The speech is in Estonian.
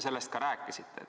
Sellest te ka rääkisite.